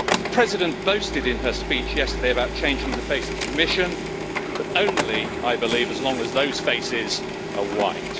The President boasted in her speech yesterday about changing the face of the Commission, but only, I believe, as long as those faces are white.